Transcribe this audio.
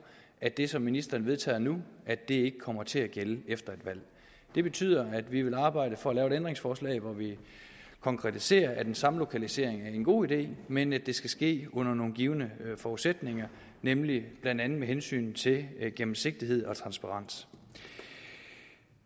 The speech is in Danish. at det som ministeren vedtager nu ikke kommer til at gælde efter et valg det betyder at vi vil arbejde for at lave et ændringsforslag hvor vi konkretiserer at den samme lokalisering er en god idé men at det skal ske under nogle givne forudsætninger nemlig blandt andet med hensyn til gennemsigtighed og transparens